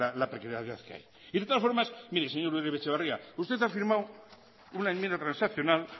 la precariedad que hay y de todas formas mire señor uribe etxebarria usted ha firmado una enmienda transaccional